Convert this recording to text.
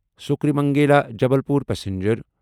سُکرِمنگلا Jabalpur passenger